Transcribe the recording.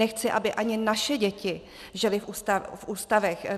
Nechci, aby ani naše děti žily v ústavech.